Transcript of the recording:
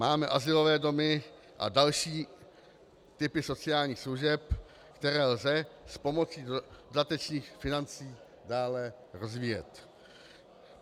Máme azylové domy a další typy sociálních služeb, které lze s pomocí dodatečných financí dále rozvíjet.